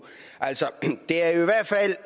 det er